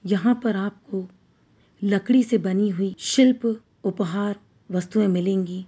यहाँ पर आपको लकड़ी से बनी हुई शिल्प उपहार वस्तुएँ मिलेंगी।